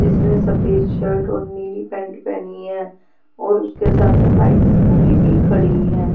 जिसने सफेद शर्ट और नीली पैंट पहनी है और उसके सामने बाइक स्कूटी भी खड़ी हैं.